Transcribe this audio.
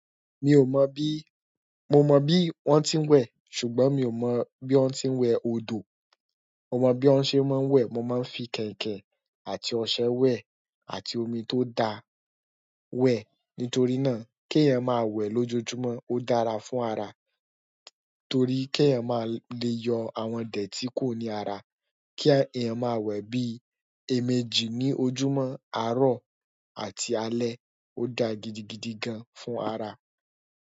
Mi ò mọ̀ bí-- mo mọ bí wọ́n ti ń wẹ̀, ṣùgbọ́n mi ò mọ bí wọ́n ti ń wẹ̀ odò. Mo mọ bí wọ́n ṣe máa ń wẹ̀, mo máa ń fi kẹ̀ǹkẹ̀n àti ọṣẹ wẹ̀ àti omi tó da wẹ̀. Nítorí náà kí èèyàn máa wẹ̀ lójoojúmọ́, ó dára fún ara, torí kí èèyàn máa le yọ àwọn idẹ̀tí kúrò ní ara. Kí èèyàn máa wẹ̀ bí èèmejì ní ojúmọ́, àárọ̀ àti alẹ́, ó da gidigidi gan fún ara.